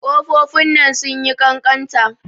Ƙofofin nan sun yi ƙanƙanta.